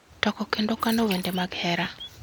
toko kendo kano wende mag hera